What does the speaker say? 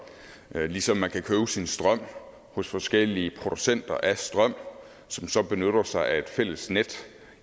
ligesom man kan købe sin strøm hos forskellige producenter af strøm som så benytter sig af et fælles net